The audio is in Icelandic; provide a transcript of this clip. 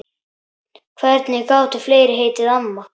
Hvernig gátu fleiri heitið amma?